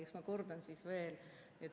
Eks ma kordan veel.